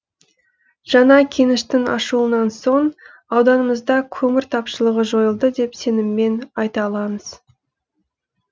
жаңа кеніштің ашылуынан соң ауданымызда көмір тапшылығы жойылды деп сеніммен айта аламыз